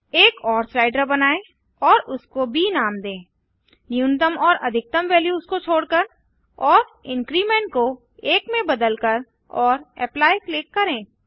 एक और स्लाइडर बनाएँ और उसको ब नाम दें न्यूनतम और अधिकतम वैल्यूस को छोड़कर और इंक्रीमेंट को 1 में बदलकर और एप्ली क्लिक करें